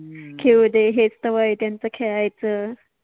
खेळु दे हेच तर वय आहे त्यांच खेळायच